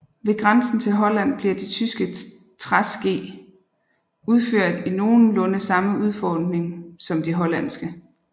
Ved grænsen til Holland bliver de tyske træske udført i nogenlunde samme udformning som de hollandske